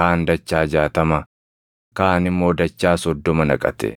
kaan dachaa jaatama, kaan immoo dachaa soddoma naqate.